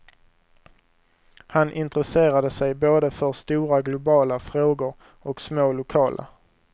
Han intresserade sig både för stora globala frågor och små lokala.